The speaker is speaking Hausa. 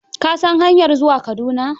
Ka san hanyar zuwa Kaduna?